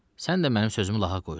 Sən də mənim sözümü lağa qoyursan.